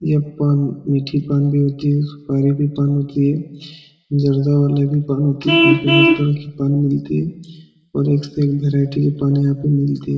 यह पान मीठी पान भी होती है सुपारी भी पान होती है जर्दा वाला भी पान होती है यहाँ पर हर तरह की पान मिलती है और एक से एक भैराइटी के पान यहाँ पर मिलती है।